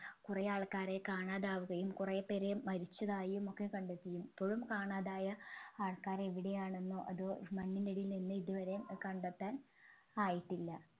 കുറെ ആൾക്കാരെ കാണാതാവുകയും കുറേ പേരെ മരിച്ചതായും ഒക്കെ കണ്ടെത്തി ഇപ്പോഴും കാണാതായ ആൾക്കാരെ എവിടെയാണെന്നോ അതോ മണ്ണിനടിയിൽ നിന്ന് ഇതുവരെ കണ്ടെത്താൻ ആയിട്ടില്ല